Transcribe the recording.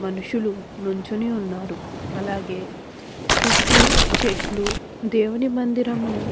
మనుషులు నుంచొని ఉన్నారు అలాగే చుట్టూ చెట్లు దేవుని మందిరము --